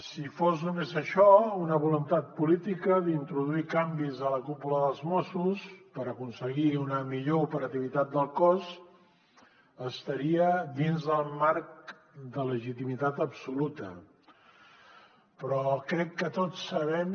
si fos només això una voluntat política d’introduir canvis a la cúpula dels mossos per aconseguir una millor operativitat del cos estaria dins del marc de legitimitat absoluta però crec que tots sabem